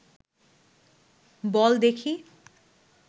বল দেখি